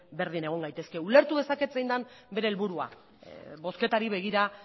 berdin egon gaitezke ulertu dezaket zein den bere helburua bozketari begira